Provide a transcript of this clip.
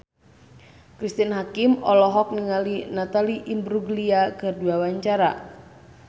Cristine Hakim olohok ningali Natalie Imbruglia keur diwawancara